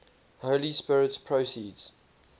holy spirit proceeds